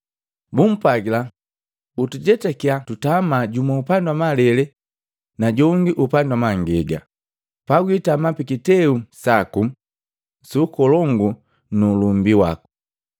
Bumpwagila, “Utujetakya kutama jumwa upandi wa malele na jongi upandi wa mangega pagwitama pikiteu saku su Ukolongu nu ulumbi waku.”